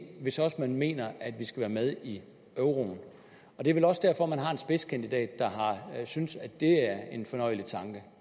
hvis også man mener at vi skal være med i euroen det er vel også derfor at man har en spidskandidat der synes at det er en fornøjelig tanke